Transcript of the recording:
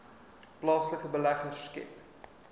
plaaslike beleggers skep